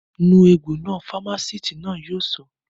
Nu egbò náà! Fámásìtì náà yóò sọ